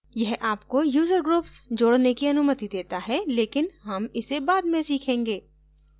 यह आपको user groups जोडने की अनुमति देता है लेकिन हम इसे बाद में सीखेंगे